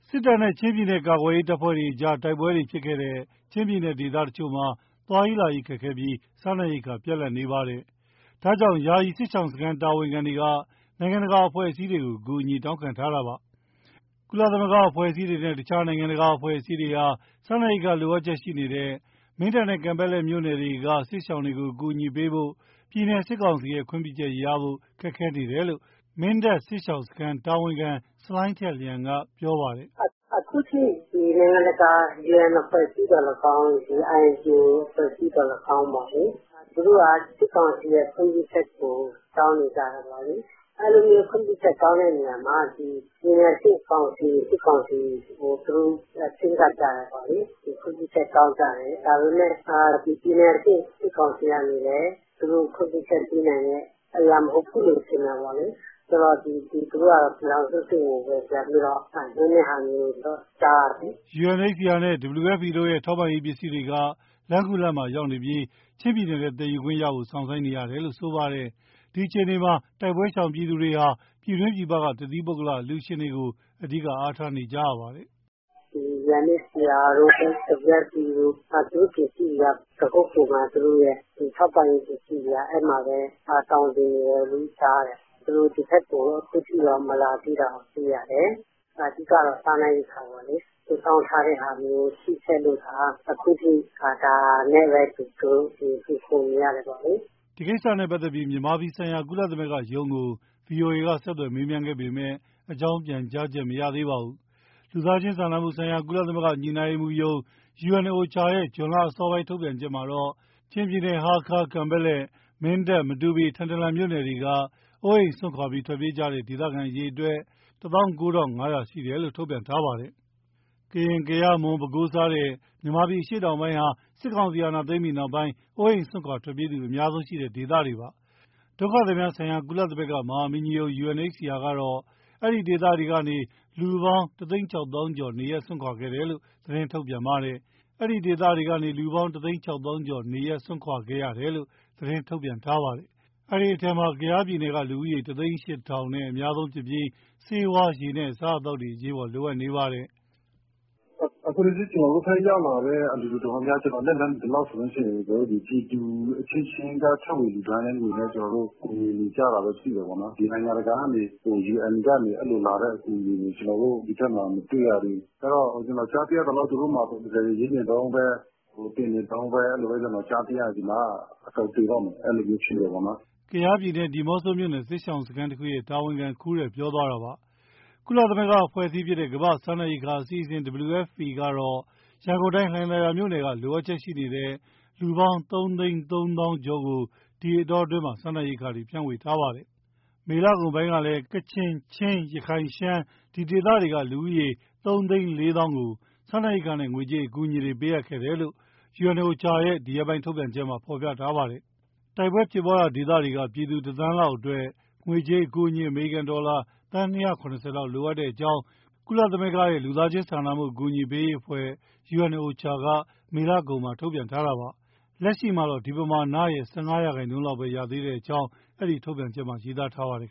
စစ်တပ်နဲ့ ချင်းပြည်နယ် ကာကွယ်ရေးတပ်ဖွဲ့တွေကြား တိုက်ပွဲတွေဖြစ်ခဲ့တဲ့ ချင်းပြည်နယ် ဒေသတချို့မှာ သွားရေးလာရေးခက်ခဲပြီး စားနပ်ရိက္ခာ ပြတ်လပ်နေပါတယ်။ ဒါကြောင့် ယာယီစစ်ရှောင်စခန်း တာဝန်ခံတွေက နိုင်ငံတကာအဖွဲ့အစည်းတွေကို အကူအညီ တောင်းခံထားတာပါ။ ကုလသမဂ္ဂအဖွဲ့အစည်းတွေနဲ့ တခြား နိုင်ငံတကာအဖွဲ့အစည်းတွေဟာ စားနပ်ရိက္ခာ လိုအပ်ချက်ရှိနေတဲ့ မင်းတပ်နဲ့ ကန်ပက်လက်မြို့နယ်တို့က စစ်ရှောင်တွေကို အကူအညီပေးဖို့ ပြည်နယ် စစ်ကောင်စီရဲ့ ခွင့်ပြုချက်ရဖို့ ခက်ခဲနေတယ်လို့ မင်းတပ်စစ်ရှောင်စခန်းတာဝန်ခံ ဆလိုင်းထက်လျန်က ပြောပါတယ်။ “အခုအထိ နိုင်ငံတကာ UN အဖွဲ့အစည်းသော်လည်းကောင်း၊ INGO အဖွဲ့အစည်းသော်လည်းကောင်း သူတို့က စစ်ကောင်စီရဲ့ ခွင့်ပြုချက်ကို တောင်းနေကြတယ်ပေါ့လေ။ အဲဒီလို ခွင့်ပြုချက်တောင်းတာမှာ ပြည်နယ်အဆင့်ကောင်စီ စစ်ကောင်စီကို သူတို့ ချဉ်းကပ်ကြတယ်ပေါ့လေ၊ ခွင့်ပြုချက် တောင်းကြတယ်။ ဒါပေမဲ့ ပြည်နယ်အဆင့် စစ်ကောင်စီကနေလည်း သူတို့ခွင့်ပြုချက်ပေးနိုင်တဲ့အရာ မဟုတ်ဘူးလို့ ထင်တာပေါ့လေ။ ဆိုတော့ သူတို့ကတော့ ပြည်ထောင်စုအဆင့်ကိုပဲ ပြန်ပြီးတော့ လွှဲတာမျိုး ကြားရတယ်။” UNHCR တို့ WFP တို့ရဲ့ ထောက်ပံ့ရေးပစ္စည်းတွေက လမ်းခုလတ်မှာရောက်ရှိနေပြီး ချင်းပြည်နယ်ထဲ သယ်ခွင့်ရဖို့ စောင့်ဆိုင်းနေရတယ်လို့ ဆိုပါတယ်။ ဒီအခြေအနေမှာ တိုက်ပွဲရှောင်သူတွေဟာ ပြည်တွင်း၊ ပြည်ပက တသီးပုဂ္ဂလအလှူရှင်တွေကို အဓိကအားထားနေကြရပါတယ်။ “UNHCR တို့ WFP တို့ သူတို့ပစ္စည်းတွေက ပခုက္ကူမှာ သူတို့ရဲ့ ထောက်ပံ့ရေး ပစ္စည်းတွေက အဲဒီမှာပဲ သောင်တင်နေတယ်လို့ ကြားတယ်။ သူတို့ ဒီဘက်ကို အခုအထိတော့ မလာသေးတာကို တွေ့ရတယ်။ အဓိကတော့ စားနပ်ရိက္ခာပေါ့လေ။ စုဆောင်းထားတဲ့ဟာမျိုး ရှိခဲ့လို့သာ အခုအထိ ဒါနဲ့ပဲသူတို့ မှီခိုနေရတယ် ပေါ့လေ။” ဒီကိစ္စနဲ့ပတ်သက်လို့ မြန်မာပြည်ဆိုင်ရာ ကုလသမဂ္ဂရုံးကို ဗွီအိုအေက ဆက်သွယ် မေးမြန်းခဲ့ပေမဲ့ အကြောင်းပြန်ကြားချက် မရသေးပါဘူး။ လူသားစာနာမှုဆိုင်ရာ ကုလသမဂ္ဂညှိနှိုင်းရေးမှုးရုံး UNOCHA ရဲ့ ဇွန်လအစောပိုင်း ထုတ်ပြန်ချက်မှာတော့ ချင်းပြည်နယ် ဟားခါး၊ ကန်ပက်လက်၊ မင်းတပ်၊ မတူပီ၊ ထန်တလန်မြို့နယ်တွေက အိုးအိမ်စွန့်ခွာပြီး ထွက်ပြေးသွားတဲ့ ဒေသခံအရေအတွက် ၁၉,၅၀၀ ရှိတယ်လို့ ထုတ်ပြန်ထားပါတယ်။ ကရင်၊ ကယား၊ မွန်၊ ပဲခူး စတဲ့ မြန်မာပြည် အရှေ့တောင်ပိုင်းဟာ စစ်ကောင်စီ အာဏာသိမ်းပြီးနောက်ပိုင်း အိုးအိမ်စွန့်ခွာထွက်ပြေးသူ အများဆုံးရှိခဲ့တဲ့ ဒေသတွေပါ။ ကုလဒုက္ခသည်များဆိုင်ရာ မဟာမင်းကြီးရုံး UNHCR ကတော့ အဲဒီဒေသတွေကနေ လူပေါင်း ၁၆၀,၀၀၀ ကျော် နေရပ်စွန့်ခွာခဲ့ရတယ်လို့ ထုတ်ပြန်ပါတယ်။ အဲဒီအထဲမှာ ကယားပြည်နယ်က လူဦးရေ ၁၀၈,၀၀၀ နဲ့ အများဆုံးဖြစ်ပြီး ဆေးဝါး၊ ရေနဲ့ အစားအသောက်တွေ အရေးပေါ် လိုအပ်နေတာပါ။ “အခုထိ ကျနော်တို့ဘက်ရောက်လာတဲ့ အလှူအတော်များများ ကျနော် လက်လှမ်းမီသလောက်ဆိုရင် ပြည်သူအချင်းချင်းက ထည့်ဝင်လှူဒါန်းတဲ့ငွေနဲ့ ကူညီနေကြတာပဲ သိတယ်ပေါ့နော်။ ဒီ နိုင်ငံတကာကနေ UN ကနေ လာတဲ့အကူအညီတွေ ကျနော်တို့ ဒီဘက်မှာ မတွေ့ရသေးဘူး။ အဲဒီတော့ ကျနော် ကြားသိရသလောက် သူတို့မှာ proposal ( အဆိုပြုလွှာ) ရေးနေတုန်းပဲ၊ တင်နေတုန်းပဲ အဲလိုကြားသိရတယ်၊ ဒီမှာက အကုန်သေတော့မယ် အဲလိုမျိုးဖြစ်နေတယ်။” ကယားပြည်နယ်၊ ဒီးမော့ဆိုမြို့နယ် စစ်ရှောင်စခန်းတခုရဲ့ တာဝန်ခံ ခူးရယ် ပြောသွားတာပါ။ ကုလအဖွဲ့အစည်းဖြစ်တဲ့ ကမ္ဘာ့စားနပ်ရိက္ခာအစီအစဉ် WFP ကတော့ ရန်ကုန်တိုင်း လှိုင်သာယာမြို့နယ်က လိုအပ်ချက်ရှိနေတဲ့ လူပေါင်း ၃၃၀,၀၀၀ ကျော်ကို ဒီအတောအတွင်းမှာ စားနပ်ရိက္ခာတွေ ဖြန့်ဝေထားပါတယ်။ မေလကုန်ပိုင်းကလည်း ကချင်၊ ချင်း၊ ရခိုင်၊ ရှမ်း ဒီဒေသတွေက လူဦးရေး ၃၄၀,၀၀၀ ကို စာနပ်ရိက္ခာနဲ့ ငွေကြေးအကူအညီတွေ ပေးအပ်ခဲ့တယ်လို့ OCHA ရဲ့ ဒီရက်ပိုင်းထုတ်ပြန်ချက်မှာ ဖော်ပြထားပါတယ်။ တိုက်ပွဲဖြစ်ရာဒေသတွေက ပြည်သူ ၁ သန်းလောက်အတွက် ငွေကြေးအကူအညီ အမေရိကန်ဒေါ်လာ သန်း ၂၇၀ လောက်လိုအပ်ကြောင်း ကုလစာနာမှုအဖွဲ့ OCHA က မေလကုန်မှာ ထုတ်ပြန်ထားတာပါ။ လက်ရှိတော့ ဒီပမာဏရဲ့ ၁၅% ရာခိုင်နှုန်းပဲ ရသေးကြောင်း အဲဒီထုတ်ပြန်ချက်မှာ ရေးသားထားပါတယ်